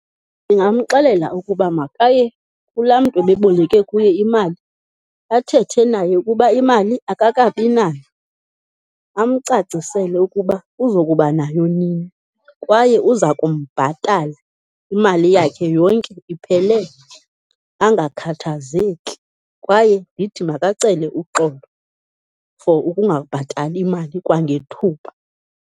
Ndingamxelela ukuba makaye kulaa mntu ebeboleke kuye imali, athethe naye ukuba imali akakabi nayo. Amcacisele ukuba uzokuba nayo nini, kwaye uza kumbhatala imali yakhe yonke iphelele, angakhathazeki. Kwaye ndithi makacele uxolo for ukungabhatali mali kwangethuba.